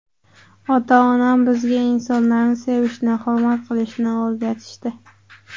Ota-onam bizga insonlarni sevishni, hurmat qilishni o‘rgatishdi.